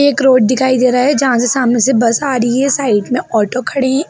एक रोड दिखाई दे रहा है जहाँ से सामने से बस आ रही है साइड में ऑटो खड़ी --